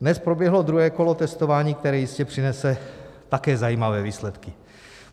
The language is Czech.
Dnes proběhlo druhé kolo testování, které jistě přinese také zajímavé výsledky.